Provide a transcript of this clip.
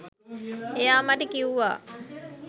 එයා මට කිව්වා